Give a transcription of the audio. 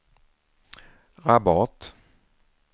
Rabat